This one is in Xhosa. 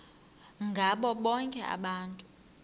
ngabo bonke abantu